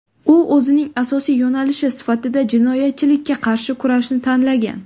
U o‘zining asosiy yo‘nalishi sifatida jinoyatchilikka qarshi kurashni tanlagan.